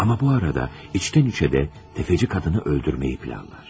Amma bu arada içdən-içə də tefeci qadını öldürməyi planlar.